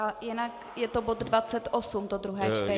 A jinak je to bod 28, to druhé čtení.